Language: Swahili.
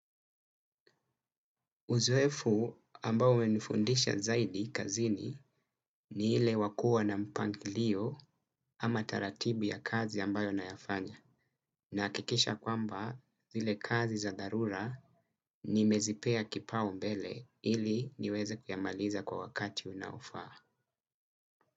Uzoefu ambao umenifundisha zaidi kazini ni ile wa kuwa na mpangilio ama taratibu ya kazi ambayo nayafanya nahakikisha kwamba zile kazi za dharura nimezipea kipao mbele ili niweze kuyamaliza kwa wakati unaofaa.